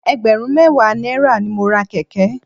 Ẹgbẹ̀rún mẹ́wàá náírà ni mo ra kẹ̀kẹ́.